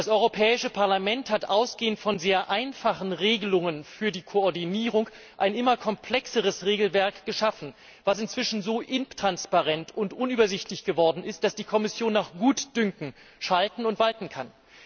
Das Europäische Parlament hat ausgehend von sehr einfachen Regelungen für die Koordinierung ein immer komplexeres Regelwerk geschaffen, das inzwischen so intransparent und unübersichtlich geworden ist, dass die Kommission nach Gutdünken schalten und walten kann.